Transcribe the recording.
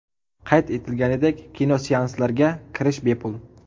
Qayd etilganidek, kinoseanslarga kirish bepul.